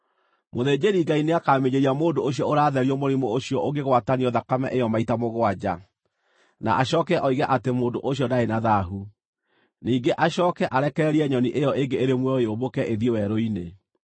Mũthĩnjĩri-Ngai nĩakaminjĩria mũndũ ũcio ũratherio mũrimũ ũcio ũngĩgwatanio thakame ĩyo maita mũgwanja, na acooke oige atĩ mũndũ ũcio ndarĩ na thaahu. Ningĩ acooke arekererie nyoni ĩyo ĩngĩ ĩrĩ muoyo yũmbũke ĩthiĩ werũ-inĩ.